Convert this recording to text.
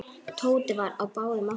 Tóti var á báðum áttum.